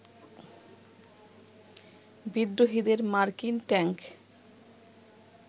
বিদ্রোহীদের মার্কিন ট্যাঙ্ক